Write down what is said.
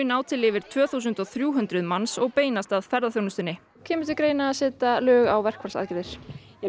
ná til yfir tvö þúsund og þrjú hundruð manns og beinast að ferðaþjónustunni kemur til greina að setja lög á verkfallsaðgerðir